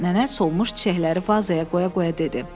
Nənə solmuş çiçəkləri vazaya qoya-qoya dedi.